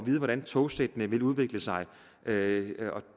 vide hvordan togsættene vil udvikle sig det